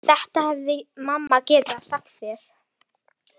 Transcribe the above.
Þetta hefði mamma getað sagt þér.